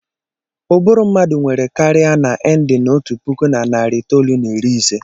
Ụbụrụ mmadụ nwere karịa naav endin otu puku na narị itoolu na iri ise.